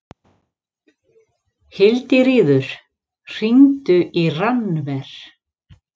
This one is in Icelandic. Hildiríður, hringdu í Rannver.